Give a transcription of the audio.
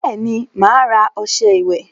Bẹẹni, ma ara ọsẹ ìwẹ̀